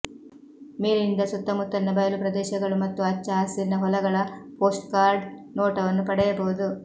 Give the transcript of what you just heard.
ಮೇಲಿನಿಂದ ಸುತ್ತಮುತ್ತಲಿನ ಬಯಲು ಪ್ರದೇಶಗಳು ಮತ್ತು ಹಚ್ಚ ಹಸಿರಿನ ಹೊಲಗಳ ಪೋಸ್ಟ್ಕಾರ್ಡ್ ನೋಟವನ್ನು ಪಡೆಯಬಹುದು